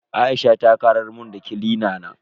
Aisha ta karar mun da kilina na.